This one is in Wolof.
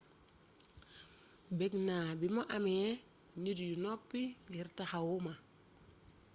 bégg na bi mu amé nit yu noppi ngir taxawuma